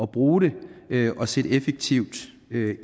bruge det og sætte effektivt